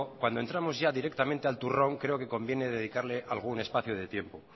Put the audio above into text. cuando entramos ya directamente al turrón creo que conviene dedicarle algún espacio de tiempo